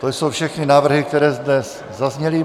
To jsou všechny návrhy, které zde zazněly.